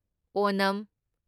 Onam